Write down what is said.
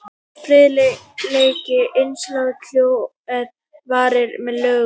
friðhelgi einkalífs hjóna er varin með lögum